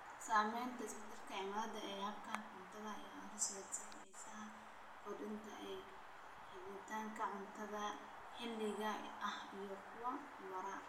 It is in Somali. Saamaynta isbeddelka cimilada ee hababka cuntada ayaa horseedaysa xiisaha korodhka ee helitaanka cuntada maxalliga ah iyo kuwa waara.